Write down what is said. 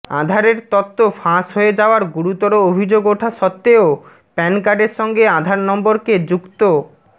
আধারের তথ্য ফাঁস হয়ে যাওয়ার গুরুতর অভিযোগ ওঠা সত্ত্বেও প্যান কার্ডের সঙ্গে আধার নম্বরকে যুক্ত